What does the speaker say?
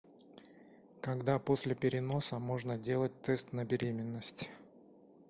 когда после переноса можно делать тест на беременность